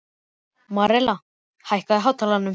Marela, hækkaðu í hátalaranum.